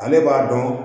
Ale b'a dɔn